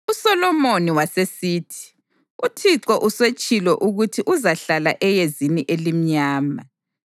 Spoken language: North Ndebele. USolomoni wasesithi, “ UThixo usetshilo ukuthi uzahlala eyezini elimnyama,